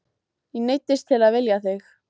Ég neyddist til að vilja þig.